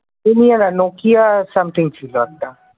Lumia না Nokia something ছিল একটা ।